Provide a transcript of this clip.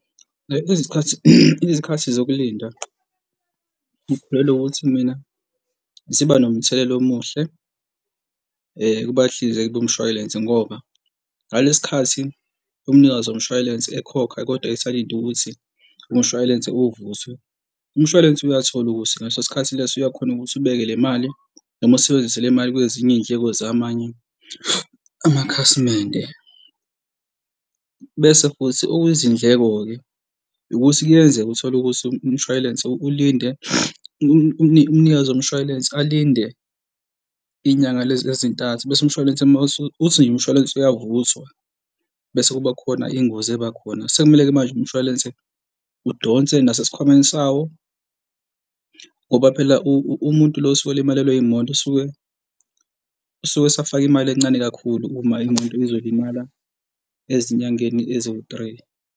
Izikhathi, izikhathi zokulinda ngikholelwa ukuthi mina ziba nomthelela omuhle kubahlinzeki bomshwalense ngoba ngalesi khathi umnikazi womshwalense ekhokha kodwa esalinde ukuthi umshwalense ovuthwe, umshwalense uyathola ukuthi ngaleso sikhathi leso uyakhona ukuthi ubeke le mali noma usebenzise le mali kwezinye iy'ndleko zamanye amakhasimende. Bese futhi okuyizindleko-ke ukuthi kuyenzeka uthole ukuthi umshwalense ulinde umnikazi womshwalense alinde inyanga lezi ezintathu bese umshwalense uma uthi nje umshwalense uyavuthwa bese kuba khona ingozi eba khona, sekumele-ke manje umshwalense udonse nasesikhwameni sawo ngoba phela umuntu lo osuke elimalewe imoto usuke, usuke esafake imali encane kakhulu kuyima imoto izolimala ezinyangeni eziwu-three.